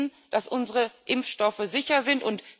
Wir wissen, dass unsere Impfstoffe sicher sind.